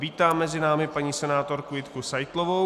Vítám mezi námi paní senátorku Jitku Seitlovou.